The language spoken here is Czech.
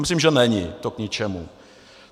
Myslím, že to není k ničemu.